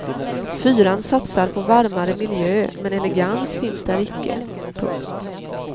Fyran satsar på varmare miljö men elegans finns där icke. punkt